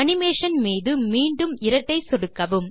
animation மீது மீண்டும் இரட்டை சொடுக்கவும்